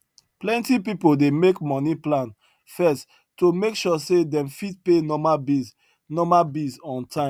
plenty pipo dey make money plan first to make sure say dem fit pay normal bills normal bills on time